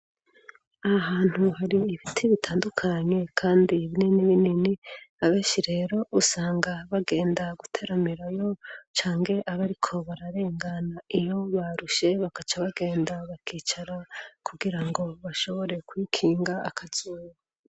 Aha hantu hari ibiti bitandukanye kandi ibinini binini abenshi rero usanga bagenda guteramirayo canke ab'ariko bararengana iyo barushe bakaca bagenda bakicara kugira ngo bashobore kwikinga akazuba.